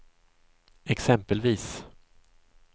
exempelvis